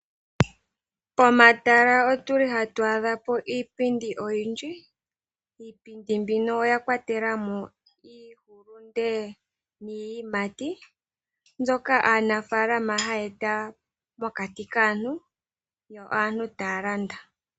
Pomatala oyulu hatu adha po iipindi oyindji. Iipindi mbino oya kwatelamo iihulunde niiyimati mbyoka aanafalama hayeta mokati kaantu yo aantu taya landa.